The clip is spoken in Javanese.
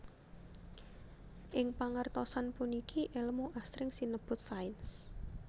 Ing pangertosan puniki èlmu asring sinebut sains